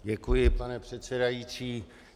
Děkuji, pane předsedající.